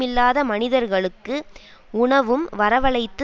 இல்லாத மனிதர்களுக்கு உணவும் வரவழைத்து